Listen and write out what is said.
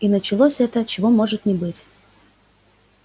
и началось то чего быть не может